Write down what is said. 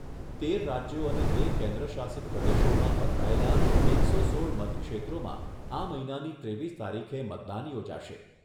તેર રાજ્યો અને બે કેન્દ્ર શાસિત પ્રદેશોમાં પથરાયેલા એકસો સોળ મતક્ષેત્રોમાં આ મહિનાની ત્રેવીસ તારીખે મતદાન યોજાશે.